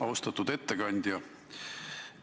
Austatud ettekandja!